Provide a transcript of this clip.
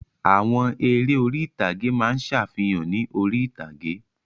Àwọn eré orí-ìtàgé máa ń ṣàfihàn ní orí-ìtàgé